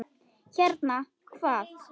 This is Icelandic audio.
Hérna, hvað?